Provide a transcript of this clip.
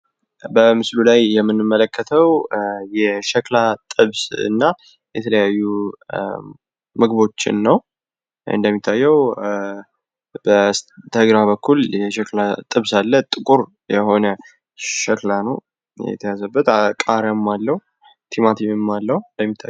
በምስሉ ላይ የምንመለከተው የሸክላ ጥብስና የተለያዩ ምግቦችን ነው ።በስተግራ በኩል የሸክላ ጥብስ አለ ። ጥቁር የሆነ ሸክላ ነው የተያዘበት ቃሪያም አለው ፤ቲማቲም አለው ።